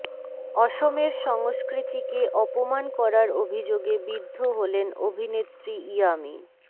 অসমের সংস্কৃতিকে অপমান করার অভিযোগে বিদ্ধ হলেন অভিনেত্রী ইয়ামি